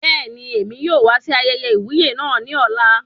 Bẹẹni, èmi yóò wá sí ayẹyẹ iwuye náà ní ọ̀la